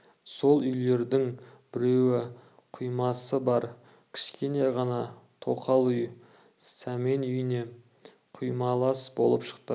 сол үйлердің біреуі құймасы бар кішкене ғана тоқал үй сәмен үйіне құймалас болып шықты